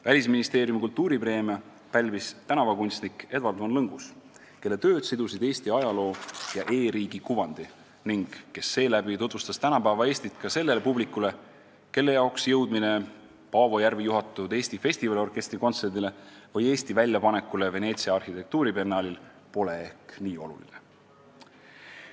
Välisministeeriumi kultuuripreemia pälvis tänavakunstnik Edward von Lõngus, kelle tööd sidusid Eesti ajaloo ja e-riigi kuvandi ning kes seeläbi tutvustas tänapäeva Eestit ka sellele publikule, kelle jaoks jõudmine Paavo Järvi juhatatud Eesti Festivaliorkestri kontserdile või Eesti väljapanekule Veneetsia arhitektuuribiennaalil pole ehk nii oluline.